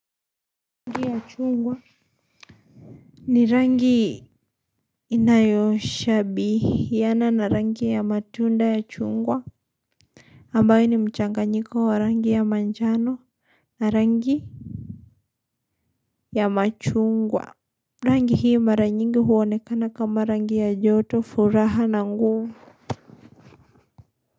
Rangi ya chungwa ni rangi inayo shabihiana na rangi ya matunda ya chungwa ambayo ni mchanganyiko wa rangi ya manjano na rangi ya machungwa. Rangi hii mara nyingi huonekana kama rangi ya joto furaha na nguvu.